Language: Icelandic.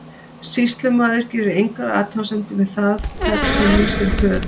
Sýslumaður gerir engar athugasemdir við það hvern hún lýsir föður.